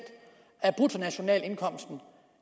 af bruttonationalindkomsten